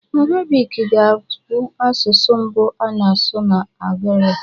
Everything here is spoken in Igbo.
Arabic ga-abụ asụsụ mbụ a na-asụ na Algeria